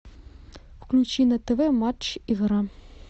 включи на тв матч игра